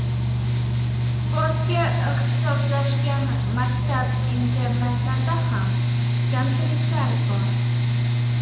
Sportga ixtisoslashgan maktab-internatlarda ham kamchiliklar bor.